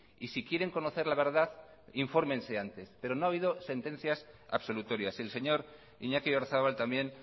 y si quieren conocer la verdad infórmense antes pero no ha habido sentencias absolutorias el señor iñaki oyarzabal también